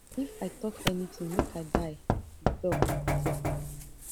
if i tok anytin make i die e tok tok